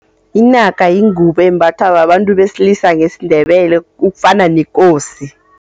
Inaka yingubo embathwa babantu besilisa ngesiNdebele ukufana nekosi.